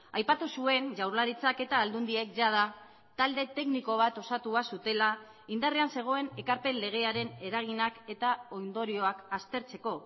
aipatu zuen jaurlaritzak eta aldundiek jada talde tekniko bat osatua zutela indarrean zegoen ekarpen legearen eraginak eta ondorioak aztertzeko